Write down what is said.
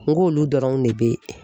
N k'olu dɔrɔnw ne bɛ ye.